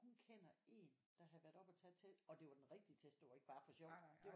Hun kender en der havde været oppe og tage testen og det var den rigtige test det var ikke bare for sjov det var